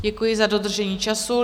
Děkuji za dodržení času.